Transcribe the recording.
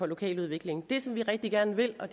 lokaludviklingen det som vi rigtig gerne vil og